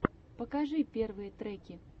покажи первые треки